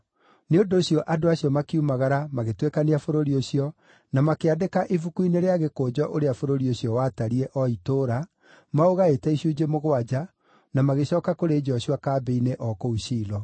Nĩ ũndũ ũcio andũ acio makiumagara magĩtuĩkania bũrũri ũcio, na makĩandĩka ibuku-inĩ rĩa gĩkũnjo ũrĩa bũrũri ũcio watariĩ, o itũũra, maũgaĩte icunjĩ mũgwanja, na magĩcooka kũrĩ Joshua kambĩ-inĩ, o kũu Shilo.